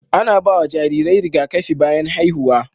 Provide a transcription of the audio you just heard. Ana ba wa jarirai rigakafi bayan haihuwa.